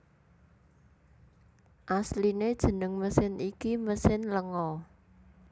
Asliné jeneng mesin iki mesin lenga